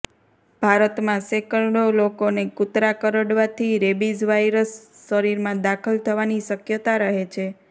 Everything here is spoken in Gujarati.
ભારતમાં સેંકડો લોકોને કુતરા કરડવાથી રેબિજ વાયરસ શરીરમાં દાખલ થવાની શકયતા રહે છે